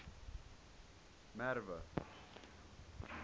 merwe